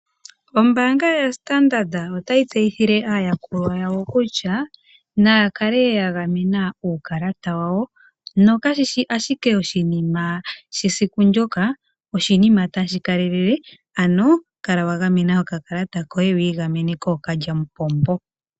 Ombaanga yoStandard otayi yseyithile aayakulwa yayo kutya, naya kale ya gamena uukalata wawo, na kashishi ashike oshinima shesiku ndyoka, oshinima tashi kalelele. Ano kala wagamena okakalata koye kookalyamupombo.